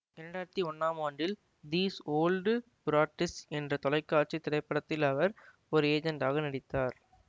இரண்டாயிரத்தி ஒன்னாம் ஆண்டில் தீஸ் ஓல்ட் புராட்ஸ் என்று தொலைக்காட்சி திரைப்படத்தில் அவர் ஒரு ஏஜெண்ட்டாக நடித்தார்